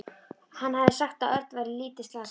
Hann hafði sagt að Örn væri lítið slasaður.